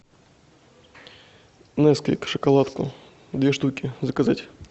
несквик шоколадку две штуки заказать